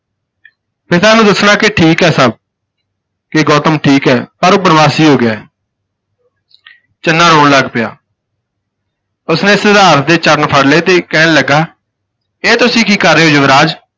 ਪਿਤਾ ਨੂੰ ਦੱਸਣਾ ਕਿ ਠੀਕ ਹੈ ਸਭ ਕਿ ਗੌਤਮ ਠੀਕ ਹੈ ਪਰ ਉਹ ਪਰਵਾਸੀ ਹੋ ਗਿਆ ਹੈ। ਚੰਨਾ ਰੌਣ ਲੱਗ ਪਿਆ। ਉਸਨੇ ਸਿਧਾਰਥ ਦੇ ਚਰਨ ਫੜ ਲਏ ਤੇ ਕਹਿਣ ਲੱਗਾ ਇਹ ਤੁਸੀਂ ਕੀ ਕਰ ਰਹੇ ਹੋ ਯੁਵਰਾਜ